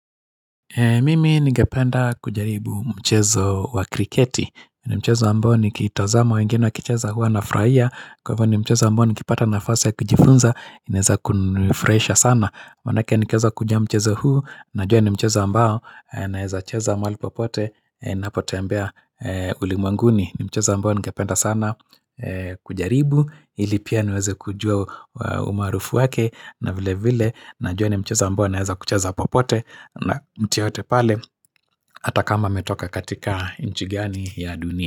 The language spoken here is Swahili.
Mimi ningependa kujaribu mchezo wa kriketi, ni mchezo ambao nikitazama wengine wakicheza hua nafurahia Kwa hivyo ni mchezo ambao nikipata nafasi ya kujifunza, naeza kunifurahisha sana Manake nikieza kujua mchezo huu, najua ni mchezo ambao, naeza cheza mahali popote, napotembea ulimwanguni ni mchezo ambao ningependa sana kujaribu, ili pia niweze kujua umarufu wake na vile vile najua ni mchezo ambao unaweza kuchezwa popote na mtu yeyote pale hata kama ametoka katika nchi gani ya dunia.